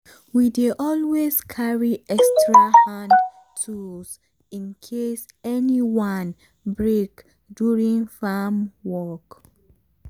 we dey always carry extra hand tools in case any one break during farm work.